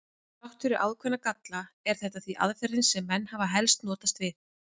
Þrátt fyrir ákveðna galla er þetta því aðferðin sem menn hafa helst notast við.